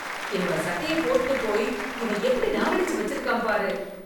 என்னோட சட்டைய போட்டுட்டு போய் இவன் எப்படி நாரடிச்சு வச்சிருக்கான் பாரு